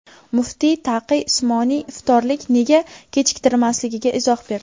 Muftiy Taqiy Usmoniy iftorlik nega kechiktirilmasligiga izoh berdi .